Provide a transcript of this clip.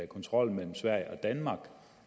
kontrollen mellem sverige og danmark